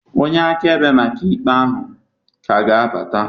Onye akaebe maka ikpe ahụ ka ga-abata